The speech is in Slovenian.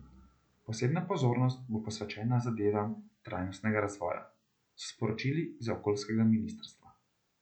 Posebna pozornost bo posvečena zadevam trajnostnega razvoja, so sporočili z okoljskega ministrstva.